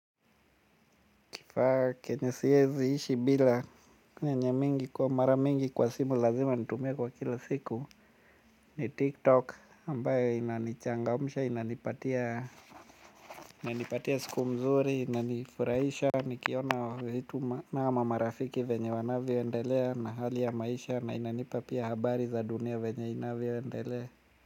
Kifaa kenye siwezi ishi bila kwenye mingi kwa mara mingi kwa simu lazima nitumie kwa kila siku ni tiktok ambayo inanichangamsha inanipatia inanipatia siku mzuri inanifurahisha nikiona vitu ama marafiki venye wanavyoendelea na hali ya maisha na inanipa pia habari za dunia venye inavyoendelea.